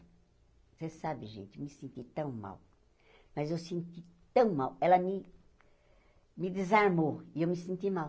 Você sabe, gente, me senti tão mal, mas eu senti tão mal, ela me me desarmou e eu me senti mal.